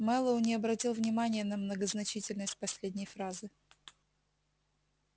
мэллоу не обратил внимания на многозначительность последней фразы